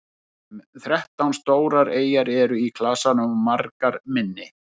um þrettán stórar eyjar eru í klasanum og margar minni